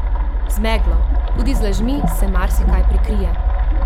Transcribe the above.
Z meglo, tudi z lažmi, se marsikaj prikrije!